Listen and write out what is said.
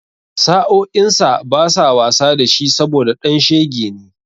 Sa'o'insa basa wasa da shi saboda ɗan shege ne.